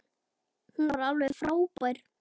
Hún var alveg frábær.